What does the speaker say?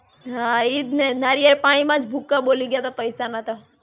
હાં, ઈજ ને. નારિયળ પાણીમાં જ ભૂકકા બોલી ગ્યા તા પૈસાના તો.